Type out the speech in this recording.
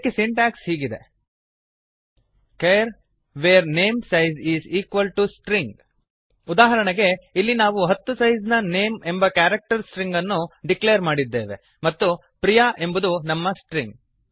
ಇದಕ್ಕೆ ಸಿಂಟ್ಯಾಕ್ಸ್ ಹೀಗಿದೆ160 char var namesize string char var name size is equal to string ಉದಾಹರಣೆಗೆ ಇಲ್ಲಿ ನಾವು ಹತ್ತು ಸೈಸ್ ನ ನೇಮ್ ಎಂಬ ಕ್ಯಾರಕ್ಟರ್ ಸ್ಟ್ರಿಂಗ್ ಅನ್ನು ಡಿಕ್ಲೇರ್ ಮಾಡಿದ್ದೇವೆ ಮತ್ತು priyaಪ್ರಿಯ ಎಂಬುದು ನಮ್ಮ ಸ್ಟ್ರಿಂಗ್